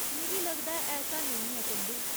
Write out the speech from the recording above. मिगी लगदा ऐ ऐसा नेईं है, चंदू।